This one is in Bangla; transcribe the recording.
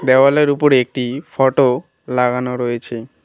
দেওয়ালের উপর একটি ফটো লাগানো রয়েছে।